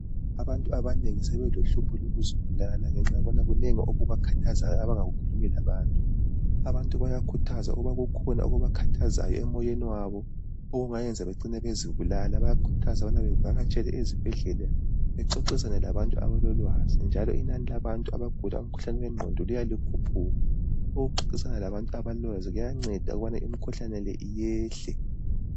Abantu abanengi sebelohlupho lokuzibulala ngenxa yokubana kunengi okubakhathazayo abangakukhulumi labantu , abantu bayakhuthazwa ukuba kukhona okubakhathazayo emoyeni wabo okungacina kubenza bezibulala bayakhuthazwa ukubana bavalatshele ezibhedlela bexoxisane labantu abalolwazi njalo inani labantu abagula ingqondo liya likhuphuka ukuxoxisana labantu abalolwazi kuyanceda ukubana imkhuhlane yonale iyehle